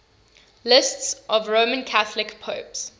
lists of roman catholic popes